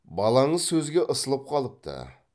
балаңыз сөзге ысылып қалыпты